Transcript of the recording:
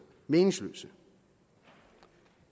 meningsløse